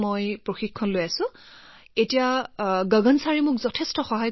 গতিকে মই ইয়াৰ অধীনত প্ৰশিক্ষণ লৈছো এতিয়া গগন ছাৰে মোক বহুত সহায় কৰিছে আৰু মোৰ খেলৰ বাবে প্ৰচাৰ কৰিছে